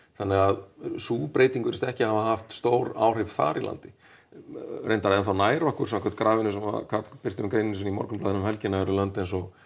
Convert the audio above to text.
þannig að sú breyting virðist ekki hafa haft stór áhrif þar í landi reyndar ennþá nær okkur samkvæmt grafinu sem Karl birti með greininni sinni í Morgunblaðinu um helgina eru lönd eins og